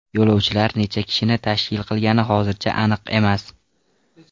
Yo‘lovchilar necha kishini tashkil qilgani hozircha aniq emas.